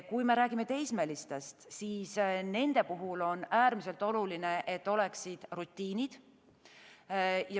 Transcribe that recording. Kui me räägime teismelistest, siis nende puhul on äärmiselt oluline, et oleksid rutiinid.